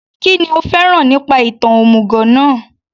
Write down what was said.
Kínní o fẹ́ràn nípa ìtàn òmùgọ̀ náà